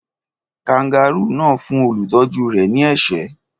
Kangárù náà fún olùtọ́jú rẹ̀ ní ẹ̀ṣẹ́?